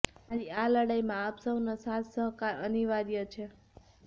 મારી આ લડાઇમાં આપ સહુનો સાથ સહકાર અનિવાર્ય છે